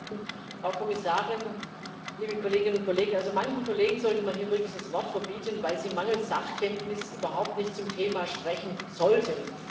Frau Präsidentin, Frau Kommissarin, liebe Kolleginnen und Kollegen! Also manchen Kollegen sollte man hier wirklich das Wort verbieten, weil sie mangels Sachkenntnis überhaupt nicht zum Thema sprechen sollten.